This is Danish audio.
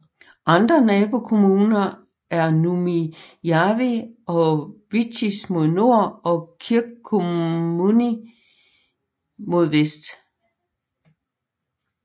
Andre nabokommuner er Nurmijärvi og Vichtis mod nord og Kirkkonummi mod vest